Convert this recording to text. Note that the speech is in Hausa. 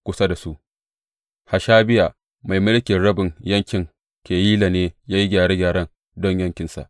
Kusa da su, Hashabiya mai mulkin rabin yankin Keyila ne ya yi gyare gyaren don yankinsa.